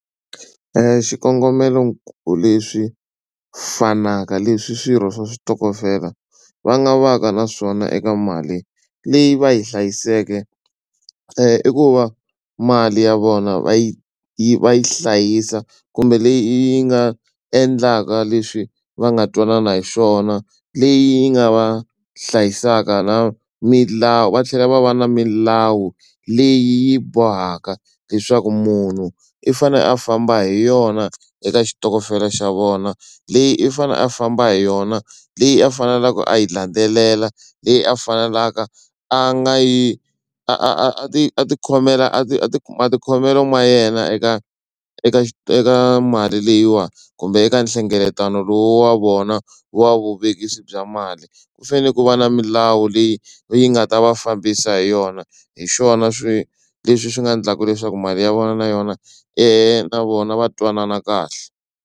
Xikongomelo ku leswi fanaka leswi swirho swa switokofela va nga va ka na swona eka mali leyi va yi hlayiseke i ku va mali ya vona va yi yi va yi hlayisa kumbe leyi yi nga endlaka leswi va nga twanana hi swona leyi yi nga va hlayisaka na milawu va tlhela va va na milawu leyi bohaka leswaku munhu i fanele a famba hi yona eka xitokofela xa vona leyi i fanele a famba hi yona leyi a faneleke a yi landzelela leyi a faneleke a nga yi a ti a tikhomela a ti a ti matikhomelo ma yena eka eka mali leyiwani kumbe eka nhlengeletano lowu wa vona wa vuvekisi bya mali ku fanele ku va na milawu leyi yi nga ta va fambisa hi yona hi swona swi leswi swi nga endlaka leswaku mali ya vona na yona na vona va twanana kahle.